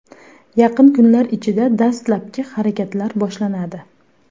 Yaqin kunlar ichida dastlabki harakatlar boshlanadi.